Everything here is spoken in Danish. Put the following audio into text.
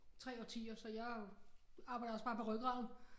3 årtier så jeg arbejder også bare med rygraden